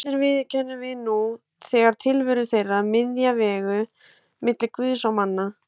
Allir viðurkennum við nú þegar tilveru þeirra, miðja vegu milli Guðs og manna.